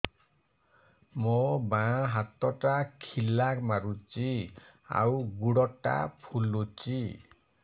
ମୋ ବାଆଁ ହାତଟା ଖିଲା ମାରୁଚି ଆଉ ଗୁଡ଼ ଟା ଫୁଲୁଚି